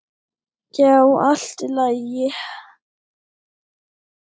Já, allt í lagi.